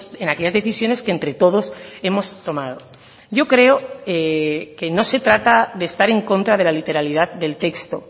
en aquellas decisiones que entre todos hemos tomado yo creo que no se trata de estar en contra de la literalidad del texto